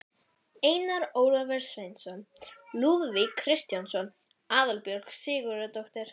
Hörkutólið Karólína spákona fékk líka samviskubit.